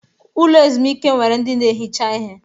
Ụlọ ezumike nwere ndi na-ehicha ihe.